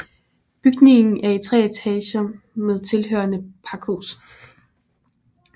Bygningen er i tre etager med tilhørende pakhus